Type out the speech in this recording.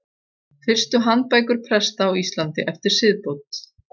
Fyrstu handbækur presta á Íslandi eftir siðbót.